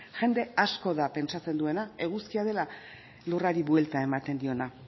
jende asko da pentsatzen duena eguzkia dela lurrari buelta ematen diona